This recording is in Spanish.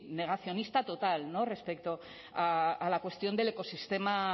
negacionista total respecto a la cuestión del ecosistema